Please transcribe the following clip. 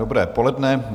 Dobré poledne.